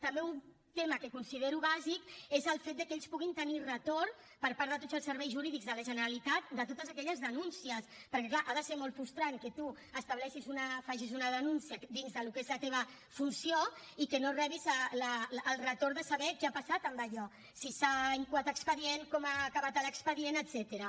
també un tema que considero bàsic és el fet que ells puguin tenir retorn per part de tots els serveis jurídics de la generalitat de totes aquelles denúncies perquè és clar ha de ser molt frustrant que tu faci’s una denúncia dins del que és la teva funció i que no rebis el retorn de saber què ha passat amb allò si s’ha incoat expedient com ha acabat l’expedient etcètera